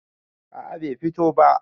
a a Bai fito ba